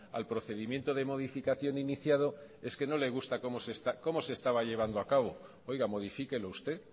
al procedimiento de modificación iniciado es que no le gusta como se estaba llevando a cabo oiga modifíquelo usted